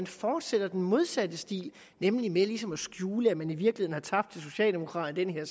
fortsætter den modsatte stil nemlig med ligesom at skjule at man i virkeligheden har tabt til socialdemokraterne